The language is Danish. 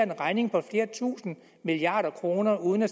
en regning på flere tusinde milliarder kroner uden at